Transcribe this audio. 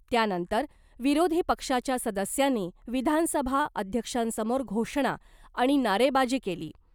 त्यानंतर विरोधी पक्षाच्या सदस्यांनी विधानसभा अध्यक्षांसमोर घोषणा आणि नारेबाजी केली .